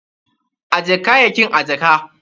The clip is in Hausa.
Ajje kayayyakin a jaka.